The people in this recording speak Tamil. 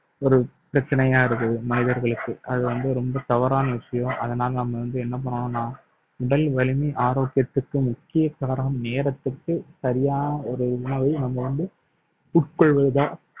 ஒரு பிரச்சனையா இருக்குது மனிதர்களுக்கு அது வந்து ரொம்ப தவறான விஷயம் அதனால நாம வந்து என்ன பண்ணனும்னா உடல் வலிமை ஆரோக்கியத்திற்கு முக்கிய காரணம் நேரத்துக்கு சரியான ஒரு உணவை நம்ம வந்து உட்கொள்வதுதான்